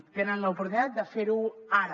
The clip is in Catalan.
tenen l’oportunitat de fer ho ara